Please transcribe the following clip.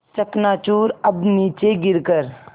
चकनाचूर अब नीचे गिर कर